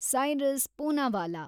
Cyrus Poonawalla